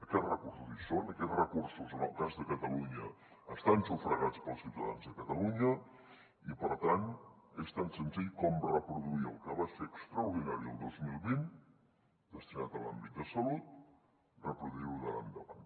aquests recursos hi són aquests recursos en el cas de catalunya estan sufragats pels ciutadans de catalunya i per tant és tan senzill com reproduir el que va ser extraordinari el dos mil vint destinat a l’àmbit de salut reproduir ho d’ara endavant